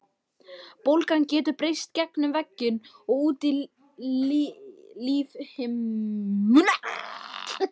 Bólgan getur breiðst gegnum vegginn og út í lífhimnuna.